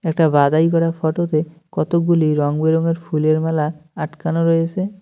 একটা বাধাই করা ফোটো -তে কতগুলি রংবেরঙের ফুলের মালা আটকানো রয়েছে।